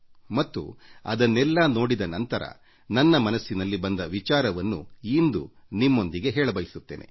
ಹೀಗೆ ಹರಿದು ಬಂದ ಇದನ್ನೆಲ್ಲ ನೋಡಿದ ನಂತರ ನನ್ನ ಮನಸ್ಸಿನಲ್ಲಿ ಬಂದ ಕಲ್ಪನೆಗಳನ್ನು ಇಂದು ನಿಮ್ಮೊಂದಿಗೆ ಇಂದು ಹಂಚಿಕೊಳ್ಳಬಯಸುತ್ತೇನೆ